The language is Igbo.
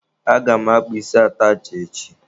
Aga m akpa isi atachị echi.